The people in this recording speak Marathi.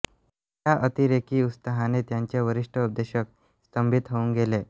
या अतिरेकी उत्साहाने त्याचे वरिष्ठ उपदेशक स्तंभित होऊन गेले